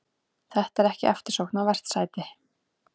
Þetta er ekki eftirsóknarvert sæti.